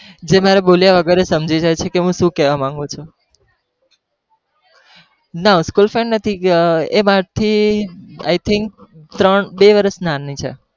જે મારા બોલ્યા વગર જ સમજી જાય છે કી હું છુ કેવા માગું છુ ના school friend નથી એ મારા થી I THINK ત્રણ બે વર્ષ નાની છે.